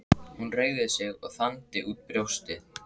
Hann reigði sig og þandi út brjóstið.